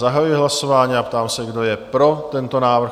Zahajuji hlasování a ptám se, kdo je pro tento návrh?